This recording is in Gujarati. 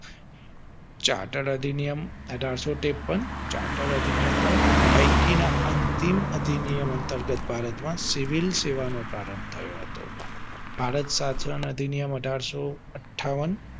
ચાર્ટર્ડ અધિનિયમ અઢારસો ત્રેપન ચાર્ટર્ડ અધિનિયમ નો પૈકી ના અંતિમ અધિનિયમ અંતર્ગત ભારત મા સિવિલ સેવા નો પ્રારંભ થયો હતો. ભારત ચાર્ટર્ડ અધિનિયમ અઢારસો અઠાવન